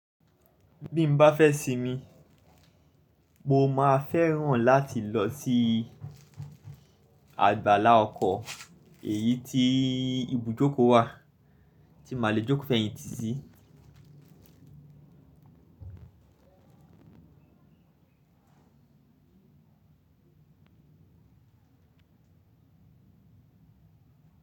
Bí n bá fẹ́ sinmi, mo máa fẹ́ràn láti lọ sí àgbàlá ọkọ̀ èyí tí ibùjókòó wà tí màá le jókòó fẹ́yìntì sí.